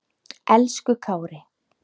Elsku Kári.